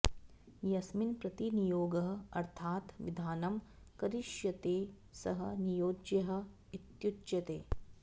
यस्मिन् प्रति नियोगः अर्थात् विधानं करिष्यते सः नियोज्यः इत्युच्यते